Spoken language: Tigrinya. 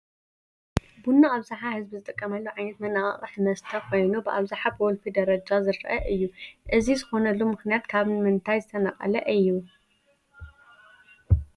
ቡና ኣብዝሃ ህዝቢ ዝጥቀመሉ ዓይነት መነቃቕሒ መስተ ኮይኑ ብኣብዝሓ ብወልፊ ደረጃ ዝርአ እዩ፡፡ እዚ ዝኾነሉ ምኽንያት ካብ ምንታይ ዝነቐለ እዩ?